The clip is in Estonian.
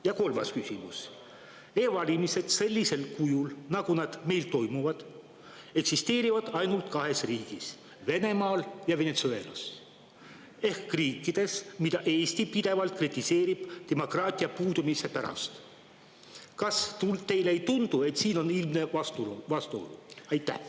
Ja kolmas küsimus: e-valimised sellisel kujul, nagu nad meil toimuvad, eksisteerivad ainult kahes riigis, Venemaal ja Venezuelas, ehk riikides, mida Eesti pidevalt kritiseerib demokraatia puudumise pärast – kas teile ei tundu, et siin on ilmne vastuolu?